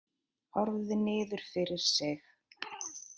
Horfði niður fyrir sig.